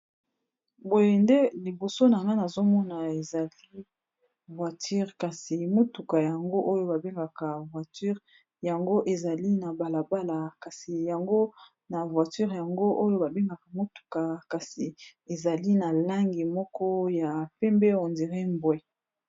Boye nde liboso na nga na azomona ezali voiture kasi motuka yango oyo babengaka voiture yango ezali na balabala kasi yango na voiture yango oyo babengaka motuka kasi ezali na langi moko ya pembe on dire mbwe.